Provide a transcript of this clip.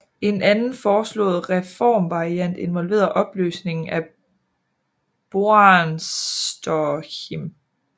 En anden foreslået reformvariant involverede opløsningen af Boarnsterhim